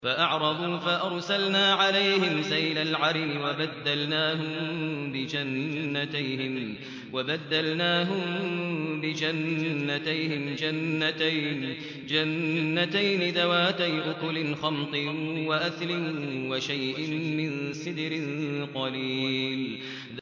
فَأَعْرَضُوا فَأَرْسَلْنَا عَلَيْهِمْ سَيْلَ الْعَرِمِ وَبَدَّلْنَاهُم بِجَنَّتَيْهِمْ جَنَّتَيْنِ ذَوَاتَيْ أُكُلٍ خَمْطٍ وَأَثْلٍ وَشَيْءٍ مِّن سِدْرٍ قَلِيلٍ